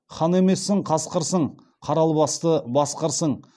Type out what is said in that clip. хан емессің қасқырсың қара албасты басқырсың